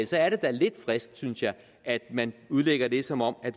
så er det da lidt frisk synes jeg at man udlægger det som om